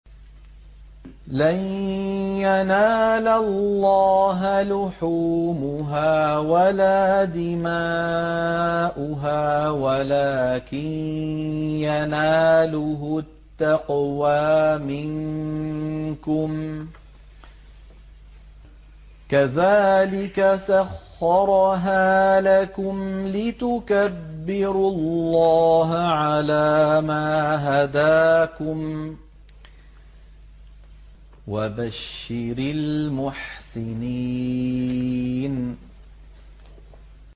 لَن يَنَالَ اللَّهَ لُحُومُهَا وَلَا دِمَاؤُهَا وَلَٰكِن يَنَالُهُ التَّقْوَىٰ مِنكُمْ ۚ كَذَٰلِكَ سَخَّرَهَا لَكُمْ لِتُكَبِّرُوا اللَّهَ عَلَىٰ مَا هَدَاكُمْ ۗ وَبَشِّرِ الْمُحْسِنِينَ